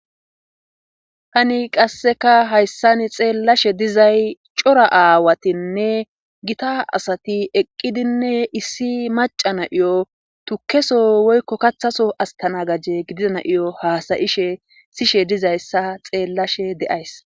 tani qasseka hayssan xeellashe dizay cora aawatinne gita asati eqqidinne issi maca na iyo tukeso woykko kathaso astana gajje gidida na7iyo haasayishe sishe dizayssa xeellashe de7ays